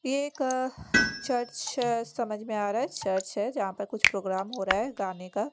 ये एक चर्च समझ में आ रहा है चर्च है जहाँ पर कुछ प्रोग्राम हो रहा है गाने का।